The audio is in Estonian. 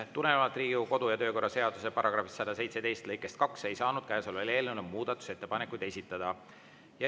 Tulenevalt Riigikogu kodu- ja töökorra seaduse § 117 lõikest 2 ei saanud käesolevale eelnõule muudatusettepanekuid esitada.